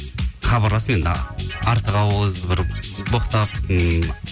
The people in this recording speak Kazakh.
хабарласып енді артық ауыз бір боқтап ммм